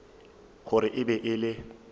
gore e be e le